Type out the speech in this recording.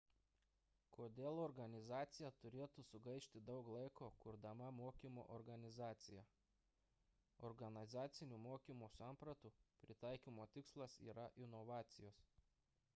kodėl organizacija turėtų sugaišti daug laiko kurdama mokymo organizaciją organizacinių mokymo sampratų pritaikymo tikslas yra inovacijos